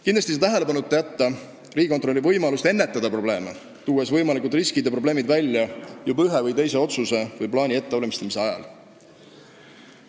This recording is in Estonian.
Kindlasti ei saa tähelepanuta jätta riigikontrolöri võimalust ennetada probleeme, tuues võimalikud riskid ja probleemid esile juba ühe või teise otsuse/plaani ettevalmistamise ajal.